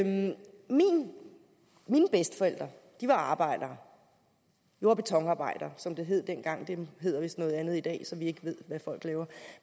mine bedsteforældre var arbejdere jord og betonarbejdere som det hed dengang det hedder vist noget andet i dag så vi ikke ved hvad folk laver